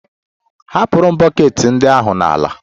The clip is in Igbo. Ahapụrụ m bọket ndị ahụ n'ala